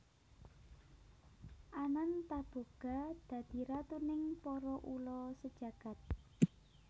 Anantaboga dadi ratuning para ula sajagad